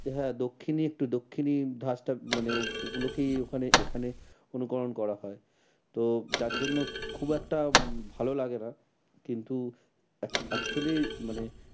হ্যাঁ দক্ষিণি একটু দক্ষিণি ধাঁচটা মানে ওগুলোকে ওখানে এখানে অনুকরণ করা হয়। তো যার জন্য খুব একটা ভালো লাগে না। কিন্তু ac~actually মানে